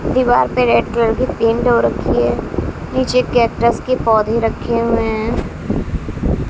दीवार पे red colour की पेंट हो रखी है नीचे कैक्टस का पौधे रखे हुए हैं।